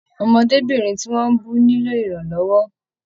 Ọmọdébinrin tí wọn bù nilo iranlọwọ.